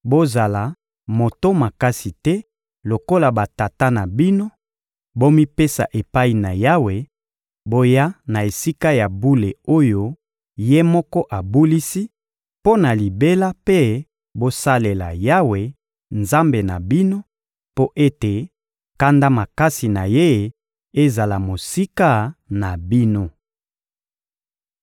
Bozala moto makasi te lokola batata na bino; bomipesa epai na Yawe, boya na Esika ya bule oyo Ye moko abulisi mpo na libela mpe bosalela Yawe, Nzambe na bino, mpo ete kanda makasi na Ye ezala mosika na bino!